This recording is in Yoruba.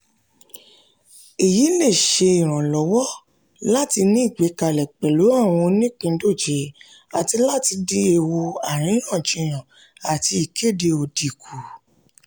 èyí le ṣe ìrànlọ́wọ́ láti ní ìgbẹ́kẹ̀lé pẹ̀lú àwọn oníìpíndọ̀jẹ̀ àti láti dín ewu àríyànjiyàn àti ìkéde òdì kù.